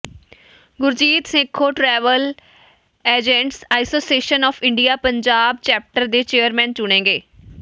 Gurjeet Sekhon travel agents association of India Punjab chapter ਦੇ chairman ਚੁਣੇ ਗਏ